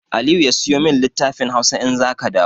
Aliyu sayo min littafin Hausa in za ka dawo!